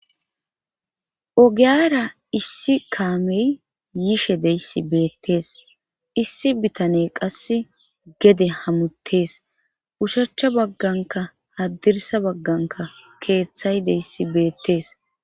ogiyara issi kaamey yishe deyssi beettees issi bitane qasse gede hamuttees ushacha bagganka haddirsa bagganka keeththay deyssi beettes